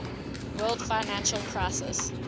world financial crisis